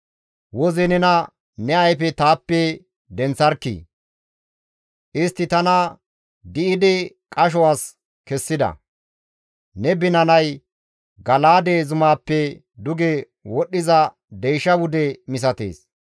Woze nena ne ayfe taappe denththarkkii! Istti tana di7idi qasho as kessida; Ne binanay Gala7aade zumaappe duge wodhdhiza deysha wude misatees.